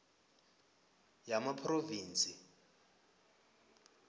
yamaphrovinsi